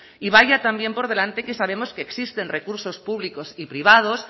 y vaya también por delante que sabemos que existen recursos públicos y privados